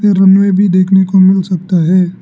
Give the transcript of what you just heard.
भी देखने को मिल सकता है।